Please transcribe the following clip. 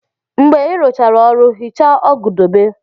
Mgbe ị rụchara ọrụ, hichaa ọgụ dobe.